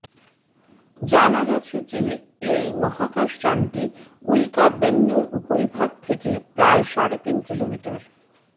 জানা গেছে যে এই মহাকাশযানটি উল্কা বেন্নুর উপরিভাগ থেকে প্রায় সাড়ে তিন কিলোমিটার